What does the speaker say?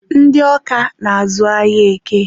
ndị Ọka na-azụ ahịa Eke.